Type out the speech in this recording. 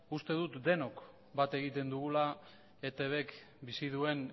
uste dut denok bat egiten dugula etbk bizi duen